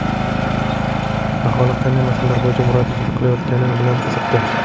Aholi qanday masalalar bo‘yicha murojaat qilayotgani bilan qiziqdi.